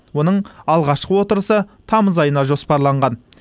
оның алғашқы отырысы тамыз айына жоспарланған